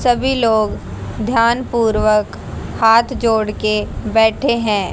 सभी लोग ध्यान पूर्वक हाथ जोड़ के बैठे हैं।